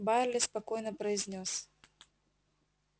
байерли спокойно произнёс